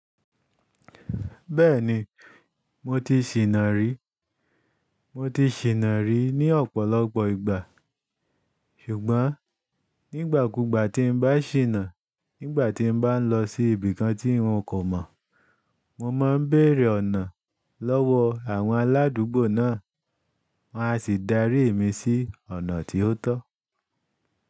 Bẹ́ẹ̀ni, mo ti ṣìnà rí. Mo ti ṣìnà rí ní ọ̀pọ̀lọpọ̀ ìgbà. Ṣùgbọ́n nígbàkúgbà tí n bá ṣìnà, nígbà tí n bá n lọ sí ibì kan tí n kò mọ̀, mo máan bèrè ọ̀nà lọ́wọ́ àwọn aládúgbò náà, wọ́n á sì darí mi sí ọ̀nà tó tọ́.